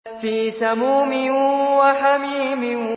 فِي سَمُومٍ وَحَمِيمٍ